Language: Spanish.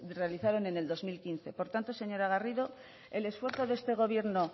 realizaron en el dos mil quince por tanto señora garrido el esfuerzo de este gobierno